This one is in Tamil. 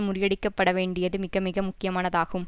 முடியடிக்கப்பட வேண்டியது மிகமிக முக்கியமானதாகும்